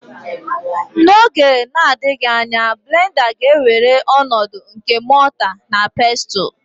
N'oge na-adịghị anya blenda ga-ewere ọnọdụ nke mota na pestul.